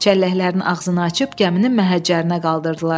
Çəlləklərin ağzını açıb gəminin məhəccərinə qaldırdılar.